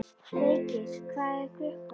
Feykir, hvað er klukkan?